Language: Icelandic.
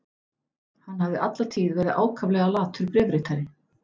Hann hafði alla tíð verið ákaflega latur bréfritari.